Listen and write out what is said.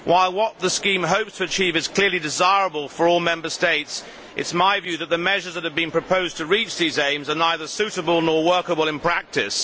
While what the scheme hopes to achieve is clearly desirable for all Member States, it is my view that the measures which have been proposed to reach these aims are neither suitable nor workable in practice.